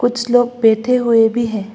कुछ लोग बैठे हुए भी हैं।